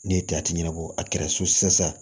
Ne ye ɲɛnabɔ a kɛra so saya ye